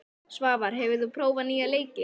Svavar, hefur þú prófað nýja leikinn?